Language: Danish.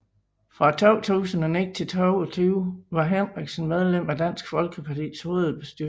Fra 2009 til 2022 var Henriksen medlem af Dansk Folkepartis hovedbestyrelse